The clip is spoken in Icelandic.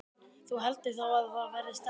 Þú heldur þá að það verði stelpa?